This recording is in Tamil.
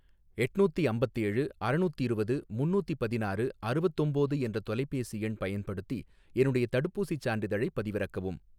எட்நூத்தி அம்பத்தேழு அறநூத்திருவது முன்னூத்தி பதினாறு அறுவத்தொம்போது என்ற தொலைபேசி எண் பயன்படுத்தி என்னுடைய தடுப்பூசிச் சான்றிதழைப் பதிவிறக்கவும்.